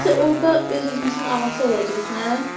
Biz orda öz-özümüzün ağası olacağıq, hə?